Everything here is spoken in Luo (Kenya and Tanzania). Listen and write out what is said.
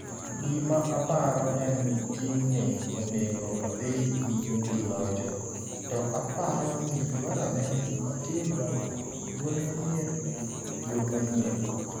''Gima aparo en ni team ni onego odhi nyime gi locho, to aparo ni dwarore ni otim lokruok, duol manyien, yo manyien.